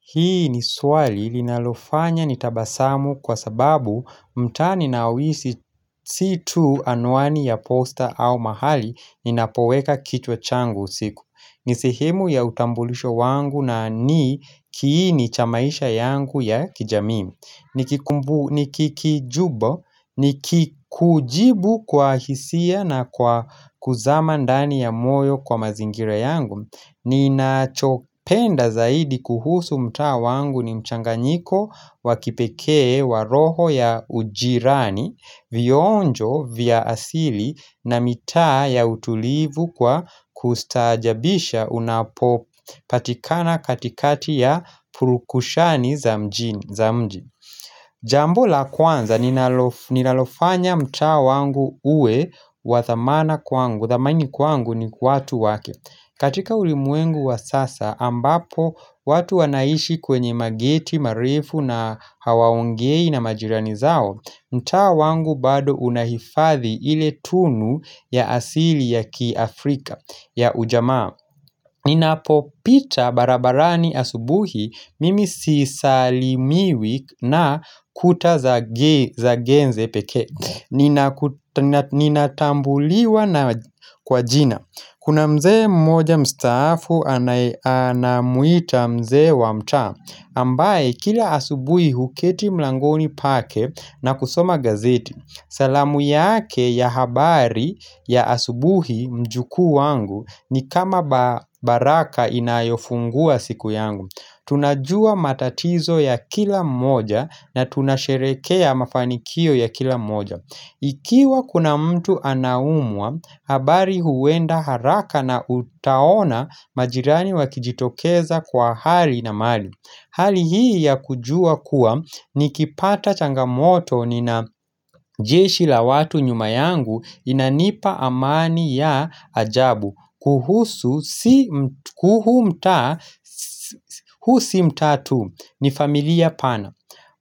Hii ni swali linalofanya nitabasamu kwa sababu mtaa ninaoishi si tu anwani ya posta au mahali ninapoweka kichwa changu siku. Nisehemu ya utambulisho wangu na ni kiini chamaisha yangu ya kijamii. Ni kikijubo, ni kikujibu kwa hisia na kwa kuzama ndani ya moyo kwa mazingira yangu. Ni nachopenda zaidi kuhusu mtaa wangu ni mchanga nyiko wakipekee waroho ya ujirani Vionjo vya asili na mitaa ya utulivu kwa kustaajabisha unapo patikana katikati ya purukushani za mji Jambo la kwanza linalofanya mtaa wangu uwe wathamana kwangu Wathamani kwangu ni watu wake katika ulimwengu wa sasa ambapo watu wanaishi kwenye mageti marefu na hawaongei na majirani zao mtaa wangu bado unahifadhi ile tunu ya asili ya ki Afrika ya ujamaa Ninapo pita barabarani asubuhi mimi sisalimiwi na kuta za genze pekee Ninatambuliwa na kwa jina Kuna mzee mmoja mstaafu anamuita mzee wamtaa, ambaye kila asubuhi huketi mlangoni pake na kusoma gazeti. Salamu yake ya habari ya asubuhi mjuku wangu ni kama baraka inayofungua siku yangu. Tunajua matatizo ya kila moja na tunasherekea mafanikio ya kila moja. Ikiwa kuna mtu anaumwa, habari huwenda haraka na utaona majirani wakijitokeza kwa hali na mali Hali hii ya kujua kuwa ni kipata changamoto ni na jeshi la watu nyuma yangu inanipa amani ya ajabu kuhusu si mtaa, husimtaa tu ni familia pana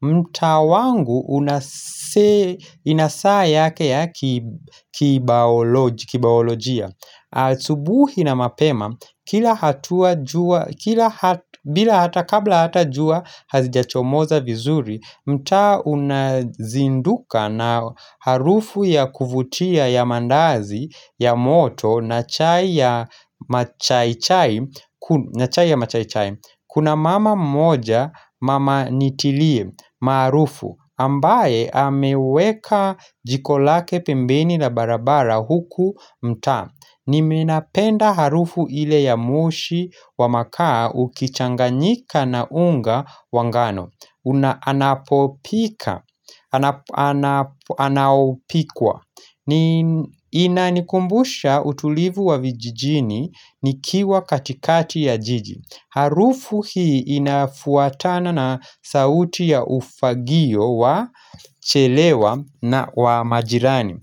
mtaa wangu inasaa yake ya kibayolojia Asubuhi na mapema kila hatua jua bila hata kabla hata jua hazijachomoza vizuri mtaa unazinduka na harufu ya kuvutia ya mandazi ya moto na chai ya machaichai Kuna mama moja mama nitilie maarufu ambaye ameweka jikolake pembeni na barabara huku mtaa ni menapenda harufu ile ya moshi wa makaa ukichanganyika na unga wangano Unaanapopika, anaopikwa Inanikumbusha utulivu wa vijijini nikiwa katikati ya jiji Harufu hii inafuatana na sauti ya ufagio wa chelewa na wa majirani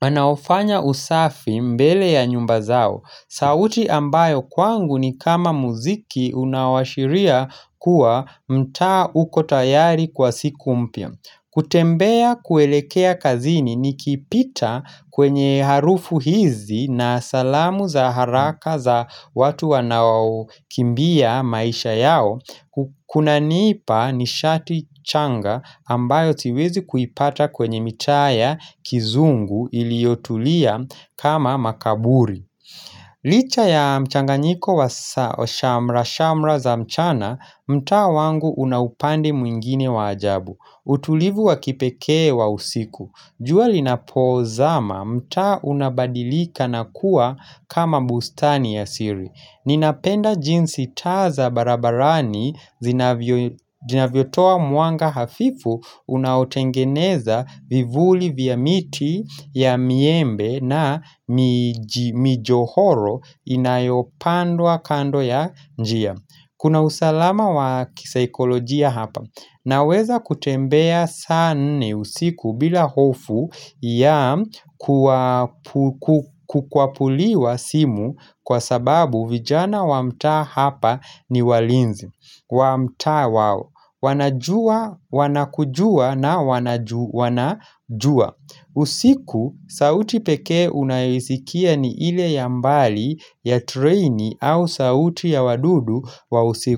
Anaofanya usafi mbele ya nyumba zao sauti ambayo kwangu ni kama muziki unaowashiria kuwa mtaa uko tayari kwa siku mpya. Kutembea kuelekea kazini ni kipita kwenye harufu hizi na salamu za haraka za watu wanaokimbia maisha yao. Kuna nipa ni shati changa ambayo siwezi kuipata kwenye mitaaya kizungu iliyotulia kama makaburi. Licha ya mchanganyiko wa shamrashamra za mchana mtaa wangu unaupande mwingine wa ajabu utulivu wa kipekee wa usiku Jualinapozama mtaa unabadilika na kuwa kama bustani ya siri Ninapenda jinsi taaza barabarani zinavyo toa mwanga hafifu Unaotengeneza vivuli vya miti ya miembe na mijohoro inayopandwa kando ya njia Kuna usalama wa kisaikolojia hapa na weza kutembea sanne usiku bila hofu ya kukwapuliwa simu kwa sababu vijana wamtaa hapa ni walinzi Wamtaa wao. Wanajua, wanakujua na wanajua. Usiku, sauti pekee unayoisikia ni ile yambali ya trainee au sauti ya wadudu wa usiku.